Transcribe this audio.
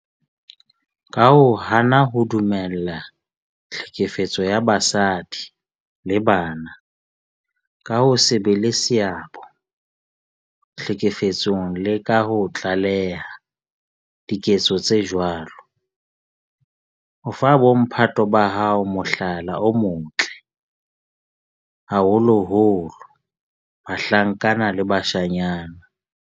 Ka ho hana ho dumella tlhekefetso ya basadi le bana, ka ho se be le seabo tlhekefetsong le ka ho tlaleha diketso tse jwalo, o fa bo mphato ba hao mohlala o motle, haholoholo bahlankana le bashanyana.